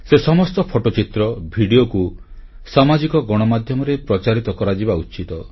ସେ ସମସ୍ତ ଫଟୋଚିତ୍ର ଭିଡ଼ିଓକୁ ସାମାଜିକ ଗଣମାଧ୍ୟମରେ ପ୍ରଚାରିତ କରାଯିବା ଉଚିତ